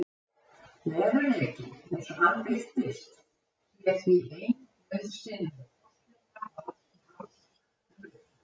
Veruleikinn, eins og hann birtist, sé því ein nauðsynleg forsenda alls tals um réttlæti.